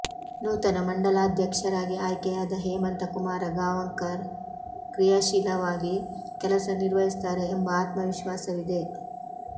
ನೂತನ ಮಂಡಲಾಧ್ಯಕ್ಷರಾಗಿ ಆಯ್ಕೆಯಾದ ಹೇಮಂತಕುಮಾರ ಗಾಂವಕರ ಕ್ರಿಯಾಶೀಲವಾಗಿ ಕೆಲಸ ನಿರ್ವಹಿಸುತ್ತಾರೆ ಎಂಬ ಆತ್ಮವಿಶ್ವಾಸವಿದೆ